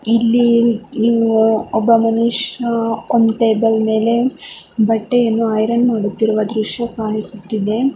ಇಲ್ಲಿ ಒಬ್ಬ ಮನುಷ್ಯ ಒಂದು ಟೇಬಲ್ ಮೇಲೆ ಬಟ್ಟೆಯನ್ನು ಐರನ್ ಮಾಡುತ್ತಿರುವ ದೃಶ್ಯ ಕಾಣಿಸುತ್ತಿದೆ.